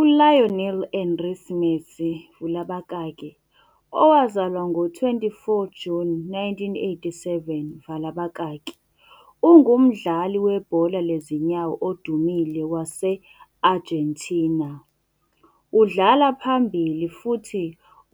ULionel Andrés Messi vula abakaki owazalwa ngo-24 Juni 1987 vala abakaki ungumdlali webhola lezinyawo odumile wase-Argentina. Udlala phambili futhi